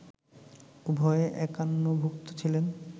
উভয়ে একান্নভুক্ত ছিলেন